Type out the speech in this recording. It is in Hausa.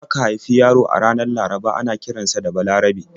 In aka haifi yaro a ranar Laraba ana kiran sa da 'Balarabe'.